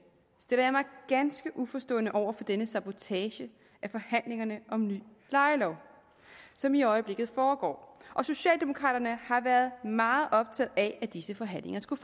stiller jeg mig ganske uforstående over for denne sabotage af forhandlingerne om ny lejelov som i øjeblikket foregår socialdemokraterne har været meget optaget af at disse forhandlinger skulle